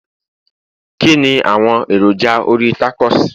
kini awọn èròjà orí tacos